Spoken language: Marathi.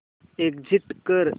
एग्झिट कर